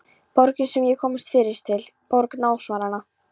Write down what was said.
Borgin sem ég kom fyrst til, borg námsáranna.